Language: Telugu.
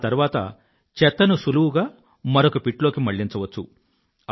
ఆ తరువాత చెత్తను సులువుగా మరొక పిట్ లోకి మళ్ళించవచ్చు